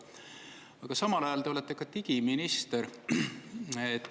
Aga samal ajal, te olete ka digiminister.